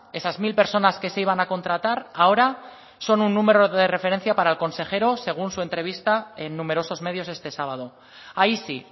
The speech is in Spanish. esas mil personas que se iban a contratar ahora son un número de referencia para el consejero según su entrevista en numerosos medios este sábado ahí sí